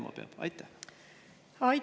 Mida peab tema tegema?